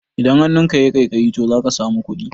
Idan hannunka yayi ƙaiƙayi to zaka samu kuɗi